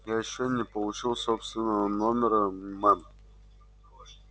я ещё не получил собственного номера мэм